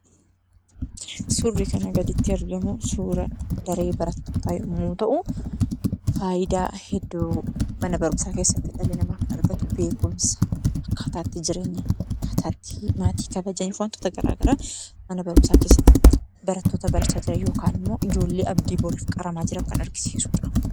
Suurri kana gaditti arginu, suura daree barattoota yemmuu ta'u, faayidaa hedduu mana barumsaa keessatti dhalli namaa kan argatu beekumsa, akkaataa ittiin jireenya ittiin maatii kabajanii fi waantota garaagaraa mana barumsaa keessatti barattoota barachaa jiran yookaan immoo ijoollee abdii boriif qaramaa jiran kan argisiisudha.